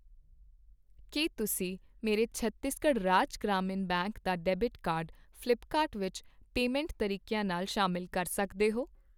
ਕੀ ਤੁਸੀਂਂ ਮੇਰੇ ਛੱਤੀਸਗੜ੍ਹ ਰਾਜ ਗ੍ਰਾਮੀਣ ਬੈਂਕ ਦਾ ਡੈਬਿਟ ਕਾਰਡ ਫ਼ਲਿੱਪਕਾਰਟ ਵਿੱਚ ਪੇਮੈਂਟ ਤਰੀਕਿਆਂ ਨਾਲ ਸ਼ਾਮਿਲ ਕਰ ਸਕਦੇ ਹੋ ?